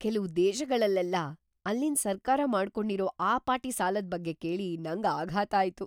ಕೆಲ್ವು ದೇಶಗಳಲ್ಲೆಲ್ಲ ಅಲ್ಲಿನ್ ಸರ್ಕಾರ ಮಾಡ್ಕೊಂಡಿರೋ ಆ ಪಾಟಿ ಸಾಲದ್ ಬಗ್ಗೆ ಕೇಳಿ ನಂಗ್ ಆಘಾತ ಆಯ್ತು.